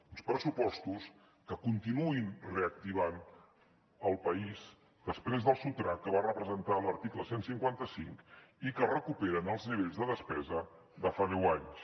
uns pressupostos que continuïn reactivant el país després del sotrac que va representar l’article cent i cinquanta cinc i que recuperen els nivells de despesa de fa deu anys